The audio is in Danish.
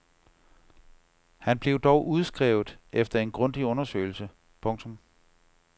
Han blev dog udskrevet efter en grundig undersøgelse. punktum